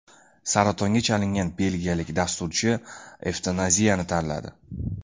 Saratonga chalingan belgiyalik dasturchi evtanaziyani tanladi.